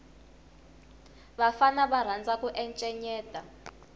vafana va rhandza ku encenyeta